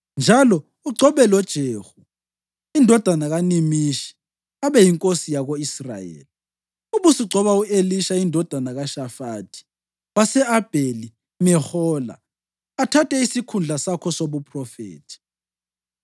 Njalo, ugcobe loJehu indodana kaNimishi abe yinkosi yako-Israyeli, ubusugcoba u-Elisha indodana kaShafathi wase-Abheli-Mehola athathe isikhundla sakho sobuphrofethi.